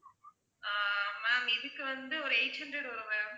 ஆஹ் ma'am இதுக்கு வந்து ஒரு eight hundred வரும் ma'am